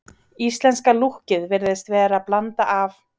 Íslenska lúkkið virðist vera blanda af